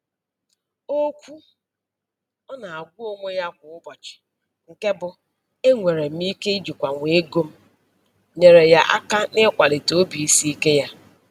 Okwu ọ na-agwa onwe ya kwa ụbọchị nke bụ "Enwere m ike ijikwanwu ego m" nyeere ya aka n'ịkwalite obisiike ya.